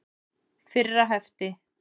Fyrra hefti.